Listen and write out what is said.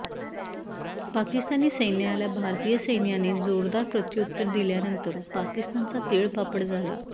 पाकिस्तानी सैन्याला भारतीय सैन्याने जोरदार प्रत्युत्तर दिल्यानंतर पाकिस्तानचा तीळपापड झाला